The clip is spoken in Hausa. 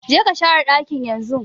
Je ka share dakin yanzun!